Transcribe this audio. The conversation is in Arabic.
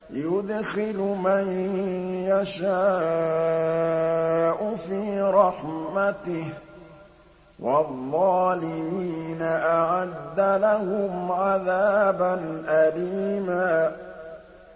يُدْخِلُ مَن يَشَاءُ فِي رَحْمَتِهِ ۚ وَالظَّالِمِينَ أَعَدَّ لَهُمْ عَذَابًا أَلِيمًا